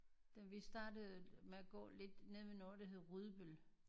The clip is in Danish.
Da vi startede med at gå lidt nede ved noget der hedder Rudbøl